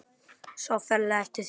Sá ferlega eftir því.